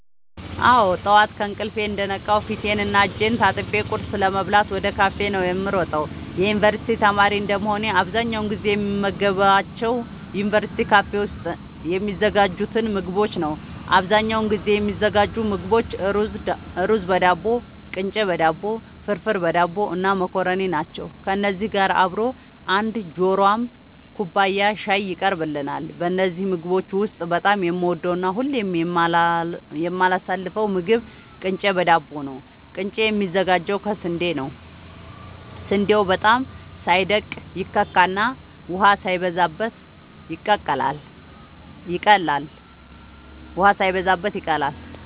አወ ጠዋት ከእንቅልፌ እንደነቃሁ ፊቴን እና እጄን ታጥቤ ቁርስ ለመብላት ወደ ካፌ ነዉ የምሮጠው የዩንቨርስቲ ተማሪ እንደመሆኔ አብዛኛውን ጊዜ የምመገባቸው ዩንቨርስቲ ካፌ ውስጥ የሚዘጋጁትን ምግቦች ነዉ አብዛኛውን ጊዜ የሚዘጋጁ ምግቦች እሩዝበዳቦ ቅንጨበዳቦ ፍርፍርበዳቦ እና መኮረኒ ናቸው ከነዚህ ጋር አብሮ አንድ ጆሯም ኩባያ ሻይ ይቀርብልናል ከነዚህ ምግቦች ውስጥ በጣም የምወደውና ሁሌም የማላሳልፈው ምግብ ቅንጨ በዳቦ ነዉ ቅንጨ የሚዘጋጀው ከስንዴ ነዉ ስንዴው በጣም ሳይደቅ ይከካና ውሃ ሳይበዛበት ይቀላል